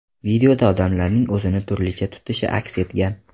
Videoda odamlarning o‘zini turlicha tutishi aks etgan.